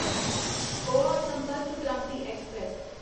Goa Sampark Kranti express